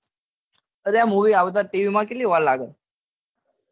અલ્યા movie આવતા tv માં કેટલી વાર લાગે